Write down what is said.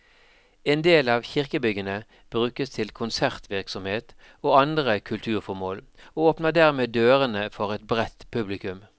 En del av kirkebyggene brukes til konsertvirksomhet og andre kulturformål, og åpner dermed dørene for et bredt publikum.